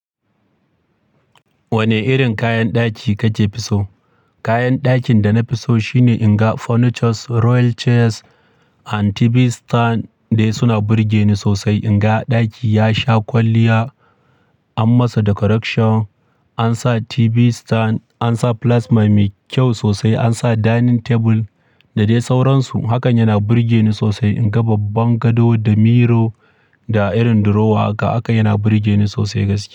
Wane irin kayan ɗaki kace fi so? Kayan dakin da na fi so shine in ga furnitures, royal chairs and TV stand dai suna burge ni sosai. In ga ɗaki ya sha kwalliya, an masa decoration, an sa TV stand, an sa plasma mai kyau sosai, an sa dining table da dai sauransu. Hakan yana burge ni sosai. In ga babban gado da miror da irin drawer haka, hakan yana burge ni sosai gaskiya.